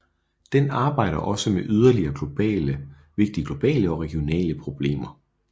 Den arbejder også med yderligere vigtige globale og regionale problemer